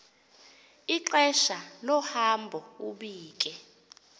ixesha lohambo ubike